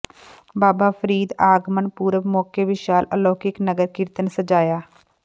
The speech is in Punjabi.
ਬਾਬਾ ਫਰੀਦ ਆਗਮਨ ਪੁਰਬ ਮੌਕੇ ਵਿਸ਼ਾਲ ਅਲੌਕਿਕ ਨਗਰ ਕੀਰਤਨ ਸਜਾਇਆ